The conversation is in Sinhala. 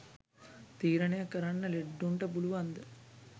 තීරණය කරන්න ලෙඩ්ඩුන්ට පුලුවන්ද?